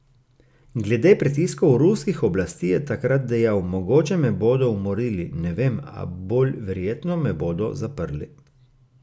Glede pritiskov ruskih oblasti je takrat dejal: "Mogoče me bodo umorili, ne vem, a bolj verjetno me bodo zaprli.